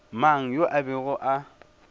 mang yo a bego a